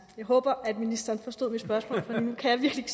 håber at ministeren forstod mit spørgsmål for nu kan jeg virkelig